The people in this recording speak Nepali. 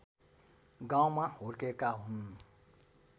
गाउँमा हुर्केका हुन्